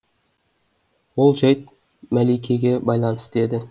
ол жайт мәликеге байланысты еді